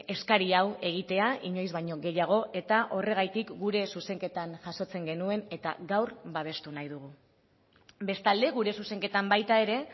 eskari hau egitea inoiz baino gehiago eta horregatik gure zuzenketan jasotzen genuen eta gaur babestu nahi dugu bestalde gure zuzenketan baita ere